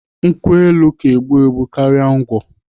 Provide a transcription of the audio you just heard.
Nkwụ elu ka egbu egbu karịa ngwọ.